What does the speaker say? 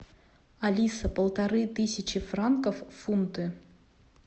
алиса полторы тысячи франков в фунты